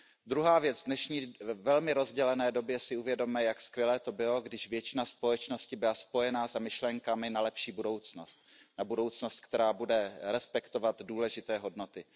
Druhá věc, v dnešní velmi rozdělené době si uvědomme, jak skvělé to bylo, když většina společnosti byla spojená myšlenkami na lepší budoucnost. Na budoucnost, která bude respektovat důležité hodnoty.